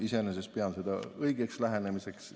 Iseenesest pean seda õigeks lähenemiseks.